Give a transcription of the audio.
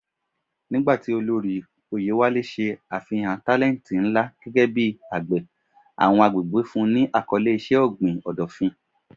Nigba ti olori Oyewale ṣe afihan talenti nla gẹgẹ bi agbe, awọn agbegbe fun un ni akọle iṣẹ-ogbin Odofin.